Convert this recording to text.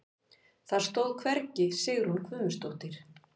Það stóð hvergi Sigrún Guðmundsdóttir.